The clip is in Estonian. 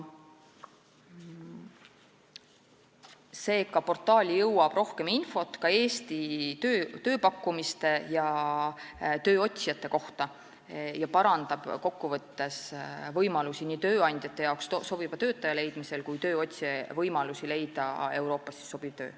Seega, portaali jõuab rohkem infot ka Eesti tööpakkumiste ja tööotsijate kohta ning see parandab kokku võttes nii tööandjate võimalusi leida sobiv töötaja kui ka tööotsija võimalusi leida Euroopas sobiv töö.